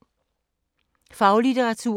Faglitteratur